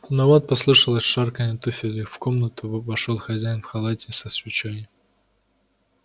но вот послышалось шарканье туфель и в комнатку во вошёл хозяин в халате и со свечой